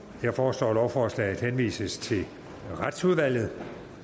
jeg foreslår at lovforslaget henvises til retsudvalget